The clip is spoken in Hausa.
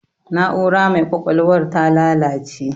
Na'ura mai ƙwaƴwalwar ta lalace